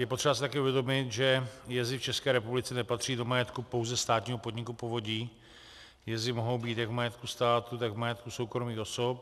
Je potřeba si také uvědomit, že jezy v České republice nepatří do majetku pouze státního podniku povodí, jezy mohou být jak v majetku státu, tak v majetku soukromých osob.